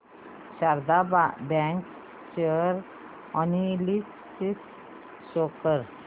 Sharda bank share analysis show कर